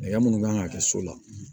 Hakɛya minnu kan ka kɛ so la